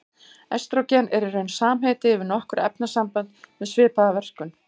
Estrógen er í raun samheiti yfir nokkur efnasambönd með svipaða verkun.